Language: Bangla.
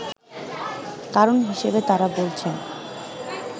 কারণ হিসেবে তারা বলছেন